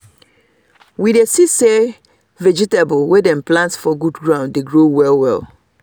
we dey see say vegetable wey dem plant for good ground dey grow well well